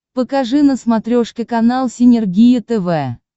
покажи на смотрешке канал синергия тв